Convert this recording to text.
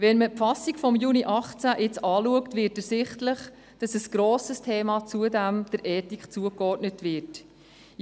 Wenn man nun die Fassung von Juli 2018 anschaut, wird ersichtlich, dass zusätzlich die Ethik ein grosses Thema ist.